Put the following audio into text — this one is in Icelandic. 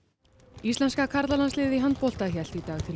íslenska karlalandsliðið í handbolta hélt í dag til